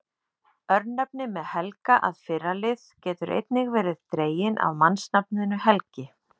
Örnefni með Helga- að fyrra lið geta einnig verið dregin af mannsnafninu Helgi.